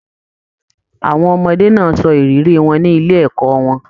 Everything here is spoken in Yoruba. Àwọn ọmọdé náà sọ ìrírí wọn ní ilé ẹ̀kọ́ wọn.